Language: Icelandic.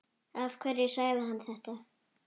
Af hverju sagði hann þetta?